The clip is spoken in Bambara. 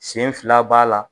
Sen fila b'a la